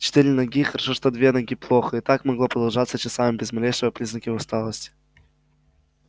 четыре ноги хорошо что две ноги плохо и так могло продолжаться часами без малейшего признака усталости